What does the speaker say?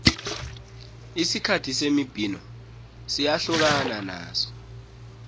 isikhathi semibhino siyahlukana naso